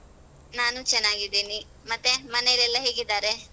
ನಾನು ಚನ್ನಾಗಿದ್ದೀನಿ ಮತ್ತೆ ಮನೆಯಲೆಲ್ಲ ಹೇಗಿದ್ದಾರೆ?